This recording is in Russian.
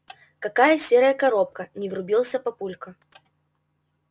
какая серая коробка не врубился папулька